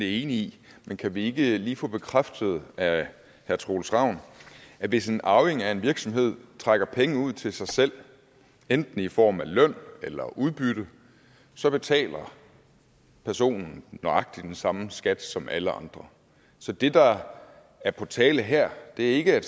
i men kan vi ikke lige få bekræftet af herre troels ravn at hvis en arving af en virksomhed trækker penge ud til sig selv enten i form af løn eller udbytte så betaler personen nøjagtig den samme skat som alle andre så det der er på tale her er ikke at